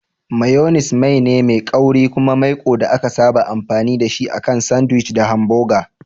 Mayones mai ne mai kauri kuma maiko da aka saba amfani da shi akan sandwich da hamboga.